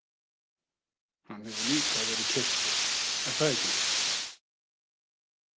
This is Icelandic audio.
Hann hefur líka verið kyrktur, er það ekki?